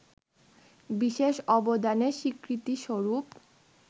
বিশেষ অবদানের স্বীকৃতিস্বরূপ